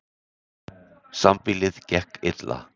Sambýlið gekk illa.